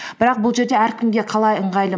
бірақ бұл жерде әркімге қалай ыңғайлы